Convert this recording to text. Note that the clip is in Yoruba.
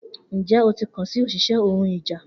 Njẹ o ti kan si oṣiṣẹ ohun ìjà?